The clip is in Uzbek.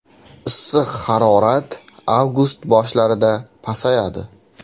Issiq harorat avgust boshida pasayadi.